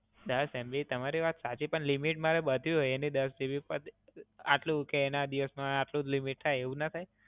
દસ MB તમારી વાત સાચી પણ limit મારે બાંધવી હોય એની દસ GB પર, આટલું કે એના દિવસ માં આટલું જ limit થાય, એવું ના થાય?